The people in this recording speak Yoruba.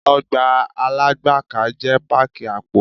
Ọgbà Alágbàká jẹ́ páàkì àpò.